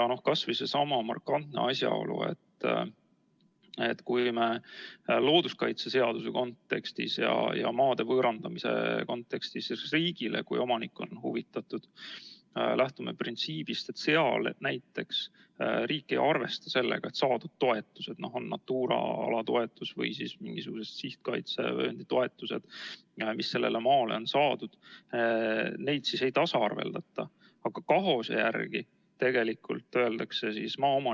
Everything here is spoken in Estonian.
Kas või seesama markantne asjaolu, et kui me looduskaitseseaduse kontekstis ja maade riigile võõrandamise kontekstis, juhul kui omanik on huvitatud, lähtume printsiibist, et riik ei arvesta saadud toetusi, olgu need Natura ala toetused või mingisugused sihtkaitsevööndi toetused, mis sellele maale on saadud, ja neid ei tasaarveldata, aga KAHOS-e järgi.